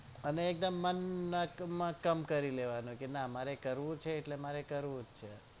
અને મન એકદમ મકમ કર લેવાનું કે મારે કરવું છે એટલે કરવું છે